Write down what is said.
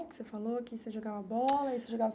Você falou que você jogava bola, e você jogava